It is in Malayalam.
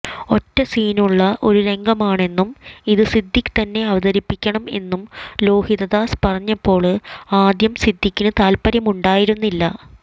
ഒറ്റ സീനുള്ള ഒരു രംഗമാണെന്നും ഇത് സിദ്ദിഖ് തന്നെ അവതരിപ്പിയ്ക്കണം എന്നും ലോഹിതദാസ് പറഞ്ഞപ്പോള് ആദ്യം സിദ്ധിഖിന് താത്പര്യമുണ്ടായിരുന്നില്ല